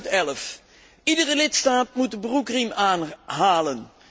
2011. Iedere lidstaat moet de broekriem aanhalen.